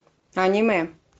аниме